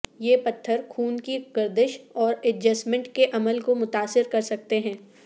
یہ پتھر خون کی گردش اور ایڈجسٹمنٹ کے عمل کو متاثر کر سکتے ہیں